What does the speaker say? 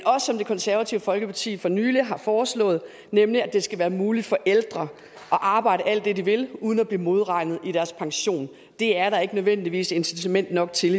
som det konservative folkeparti for nylig har foreslået være muligt for ældre at arbejde alt det de vil uden at blive modregnet i deres pension det er der ikke nødvendigvis incitament nok til